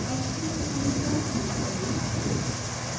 actions menu पर click करें